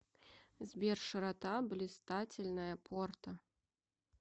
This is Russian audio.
сбер широта блистательная порта